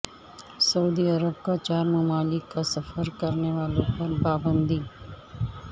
سعودی عرب کا چار ممالک کا سفر کرنے والوں پر پابندی